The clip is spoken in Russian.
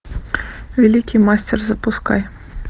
великий мастер запускай